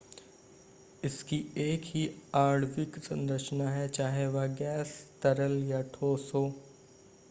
इसकी एक ही आणविक संरचना है चाहे वह गैस तरल या ठोस हो